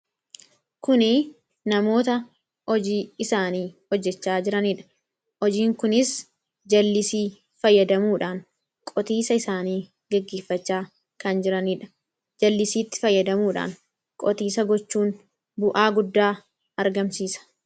kuni namoota hojii isaanii hojjechaa jiraniidha hojiin kunis jallisii fayyadamuudhaan qotiisa isaanii geggeeffachaa kan jiraniidha jallisiitti fayyadamuudhaan qotiisa gochuun bu'aa guddaa argamsiisa